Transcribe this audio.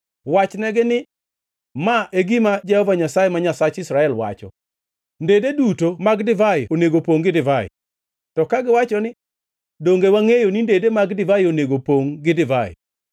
“Wachnegi ni: ‘Ma e gima Jehova Nyasaye, ma Nyasach Israel, wacho: Ndede duto mag divai onego opongʼ gi divai.’ To kagiwacho ni, ‘Donge wangʼeyo ni ndede mag divai onego pongʼ gi divai?’